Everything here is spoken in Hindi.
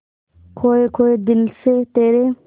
खोए खोए दिल से तेरे